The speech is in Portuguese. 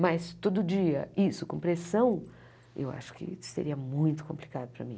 Mas, todo dia, isso, com pressão, eu acho que seria muito complicado para mim.